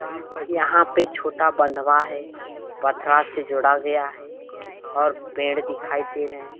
यह पर यहाँ पे छोटा बंधवा है पथरा से जोड़ा गया है और पेड़ दिखाई दे रहे है